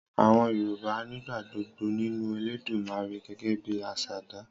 Àwọn Yorùbá nígbàgbọ́ nínú Elédùmarè gẹ́gẹ́ bi asàdá.